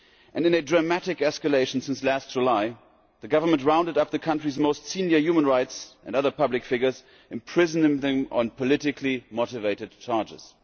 In a dramatic escalation since last July the government rounded up the country's most senior human rights and other public figures, imprisoning them on politically motivated charges.